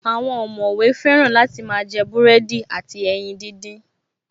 Àwọn ọ̀mọ̀wé fẹ́ràn láti máa jẹ búrẹ́dì àti ẹyin díndín